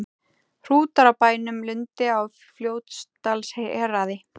Hrútar á bænum Lundi á Fljótsdalshéraði.